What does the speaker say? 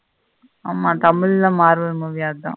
ஆமா தமிழ்ல marvel movie அதுத.